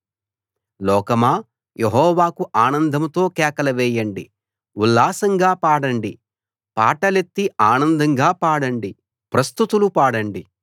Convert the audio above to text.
లోకమా యెహోవాకు ఆనందంతో కేకలు వేయండి ఉల్లాసంగా పాడండి పాటలెత్తి ఆనందంగా పాడండి ప్రస్తుతులు పాడండి